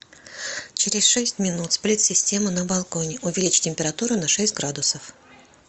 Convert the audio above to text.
через шесть минут сплит система на балконе увеличь температуру на шесть градусов